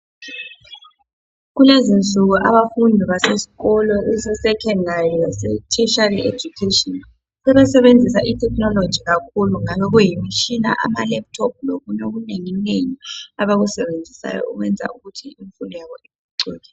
kulezinsuku abafundi basesikolo ese secondary lase tertiary education sebesebenzisa i technology kakhulu ngabe kuyimitshina ama laptop lokunye okunenginengi abakusebenzisayo okwenza ukuthi imfundo yabo iphucuke